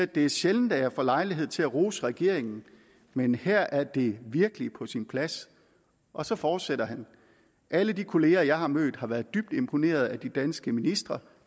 det er sjældent at jeg får lejlighed til at rose regeringen men her er det virkelig på sin plads og så fortsætter han alle de kolleger jeg har mødt har været dybt imponerede af de danske ministre